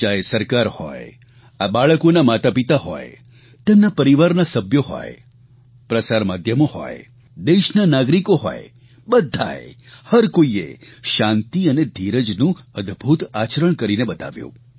ચાહે સરકાર હોય આ બાળકોના માતાપિતા હોય તેમના પરિવારના સભ્યો હોય પ્રસાર માધ્યમો હોય દેશના નાગરિકો હોય બધા એ હર કોઇએ શાંતિ અને ધીરજનું અદભૂત આચરણ કરીને બતાવ્યું